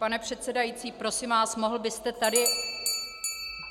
Pane předsedající, prosím vás, mohl byste tady...